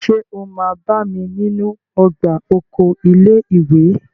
Ṣé o máa bá mi nínú ọgbà oko ilé ìwé?